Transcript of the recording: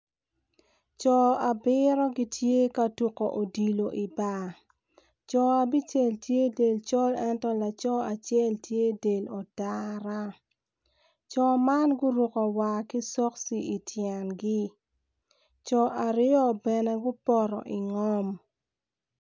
Co abiro gitye ka tuku odilo ibar co abicel tye del ocol ento acel tye del otara co man guruku war ki cokci ityengi co aryo bene gupoto ingom